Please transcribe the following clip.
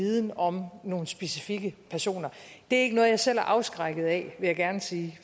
viden om nogle specifikke personer det er ikke noget jeg selv er afskrækket af vil jeg gerne sige